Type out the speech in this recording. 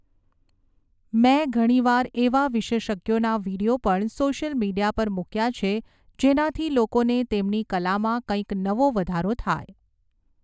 મેં ઘણીવાર એવા વિશેષજ્ઞોના વિડીયો પણ સોશ્યલ મીડિયા પર મૂક્યા છે જેનાથી લોકોને તેમની કલામાં કંઈક નવો વધારો થાય.